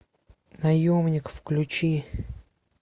наемник включи